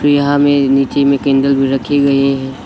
यहां में नीचे में कैंडल भी रखे गये हैं।